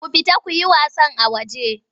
Ku fita ku yi wasan a waje!